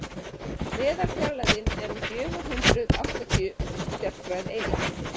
meðalfjarlægðin er um fjögur hundruð áttatíu stjarnfræðieiningar